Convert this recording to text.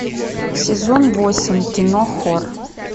сезон восемь кино хор